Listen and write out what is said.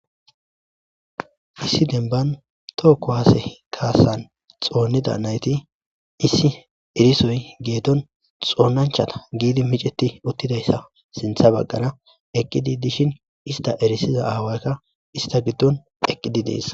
Issi demban tooko waase kaasan xoonnida nayti issi erisoy geeton xoonnanchata giidi miceti uttidayssa sintha baggana eqqidi dishin ista erisiza aawaykka ista giddon eqqidi dees.